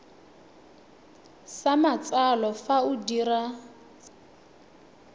sa matsalo fa o dira